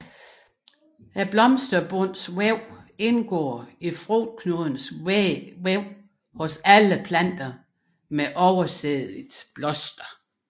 Blomsterbundens væv indgår i frugtknudens væg hos alle planter med oversædigt bloster